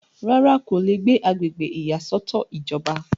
rárá, kò le gbé agbègbè ìyàsọ́tọ̀ ìjọba